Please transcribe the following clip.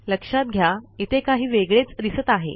लक्षात घ्या इथे काही वेगळेच दिसत आहे